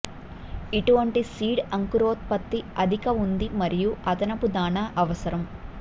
ఇటువంటి సీడ్ అంకురోత్పత్తి అధిక ఉంది మరియు అదనపు దాణా అవసరం